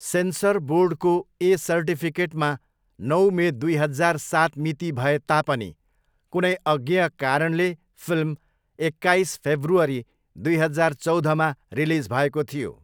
Sensor बोर्डको 'A' सर्टिफिकेटमा नौ मे दुई हजार सात मिति भए तापनि कुनै अज्ञेय कारणले फिल्म एक्काइस फेब्रुअरी दुई हजार चौधमा रिलिज भएको थियो।